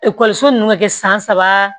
Ekɔliso ninnu bɛ kɛ san saba